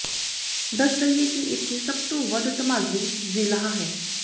ਦੱਸ ਦੱਈਏ ਕਿ ਇੱਥੇ ਸਭ ਤੋਂ ਵੱਧ ਧਮਾਜ਼ੀ ਜ਼ਿਲ੍ਹਾ ਹੈ